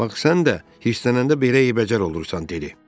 bax sən də hirslənəndə belə eybəcər olursan, dedi.